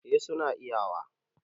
eh suna iyawa